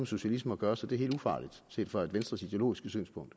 socialisme at gøre så det er helt ufarligt set fra venstres ideologiske synspunkt